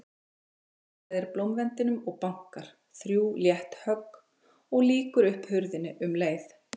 Hagræðir blómvendinum og bankar, þrjú létt högg, og lýkur upp hurðinni um leið.